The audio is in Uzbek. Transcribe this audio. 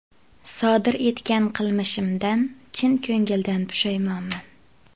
Sodir etgan qilmishidan chin ko‘ngildan pushaymonman.